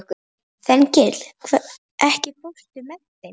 Þengill, ekki fórstu með þeim?